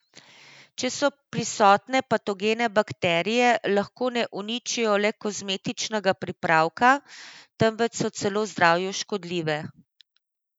Če so prisotne patogene bakterije, lahko ne uničijo le kozmetičnega pripravka, temveč so celo zdravju škodljive.